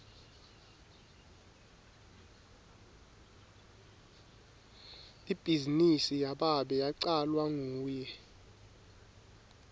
ibhizinisi yababe yacalwa nguye